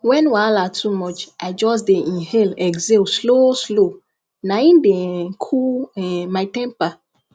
when wahala too much i just dey inhale exhale slow slow na im dey um cool um my temper